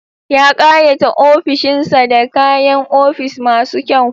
Ya ƙayata ofishin sa da kayan ofis masu kyau